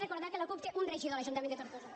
recordar que la cup té un regidor a l’ajuntament de tortosa